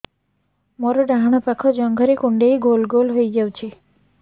ମୋର ଡାହାଣ ପାଖ ଜଙ୍ଘରେ କୁଣ୍ଡେଇ ଗୋଲ ଗୋଲ ହେଇଯାଉଛି